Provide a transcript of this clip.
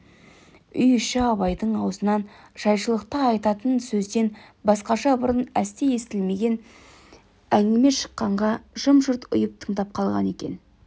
үй іші абайдың аузынан жайшылықта айтатын сөзден басқаша бұрын әсте естілмеген әңгіме шыққанға жым-жырт ұйып тыңдап қалған екен